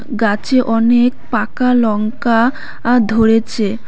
গাছে অনেক পাকা লঙ্কা আ ধরেছে।